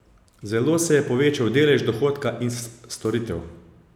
Zelo se je povečal delež dohodka iz storitev.